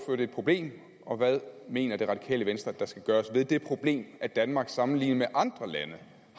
er et problem og hvad mener det radikale venstre at der skal gøres ved det problem at danmark sammenlignet med andre lande